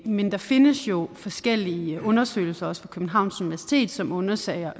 men der findes jo forskellige undersøgelser også fra københavns universitet som undersøger